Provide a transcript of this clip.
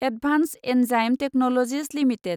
advanced enzyme technologies limited